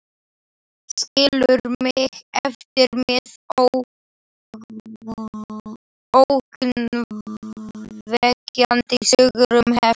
Skilur mig eftir með ógnvekjandi sögur um hefnd.